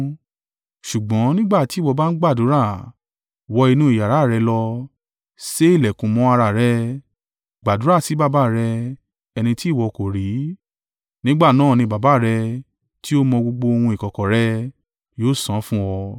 Ṣùgbọ́n nígbà tí ìwọ bá ń gbàdúrà, wọ inú iyàrá rẹ lọ, sé ìlẹ̀kùn mọ́ ara rẹ, gbàdúrà sí Baba rẹ ẹni tí ìwọ kò rí. Nígbà náà ni Baba rẹ tí ó mọ gbogbo ohun ìkọ̀kọ̀ rẹ, yóò san án fún ọ.